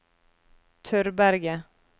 Tørberget